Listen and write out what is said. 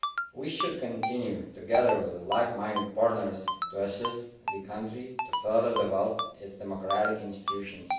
We should continue, together with like minded partners, to assist the country to further develop its democratic institutions.